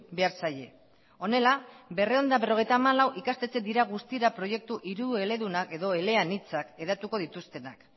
behar zaie honela berrehun eta berrogeita hamalau ikastetxe dira guztira proiektu hirueledunak edo eleanitzak hedatuko dituztenak